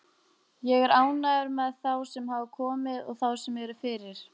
Ég er ánægður með þá sem hafa komið og þá sem eru fyrir.